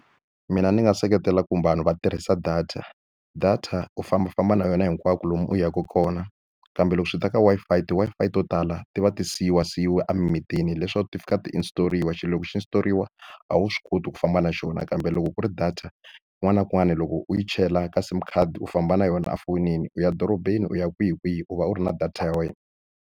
Mina ni nga seketela ku vanhu va tirhisa data. Data u fambafamba na yona hinkwako lomu u yaka kona, kambe loko swi ta ka Wi-Fi ti-Wi-Fi to tala ti va ti siyiwasiyiwe emimitini. Hileswaku ti fika ti install-riwa, xilo loko xi install-riwa a wu swi koti ku famba na xona. Kambe loko ku ri data kun'wana na kun'wana loko u yi chela ka SIM card u famba na yona efonini. U ya dorobeni, u ya kwihikwihi, u va u ri na data ya wena.